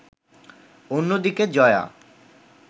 অন্যদিকে জয়া